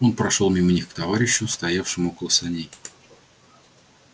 он прошёл мимо них к товарищу стоявшему около саней